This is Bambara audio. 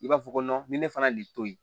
I b'a fɔ ko ni ne fana y'i to yen